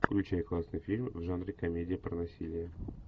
включай классный фильм в жанре комедия про насилие